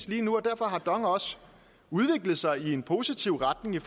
lige nu og derfor har dong også udviklet sig i en positiv retning i